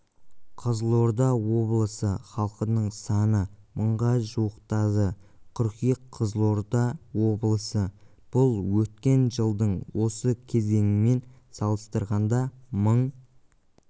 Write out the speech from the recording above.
қызылорда облысы халқының саны мыңға жуықтады қыркүйек қызылорда облысы бұл өткен жылдың осы кезеңімен салыстырғанда мың